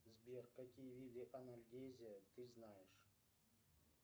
сбер какие виды анальгезия ты знаешь